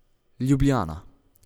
Ljubljana.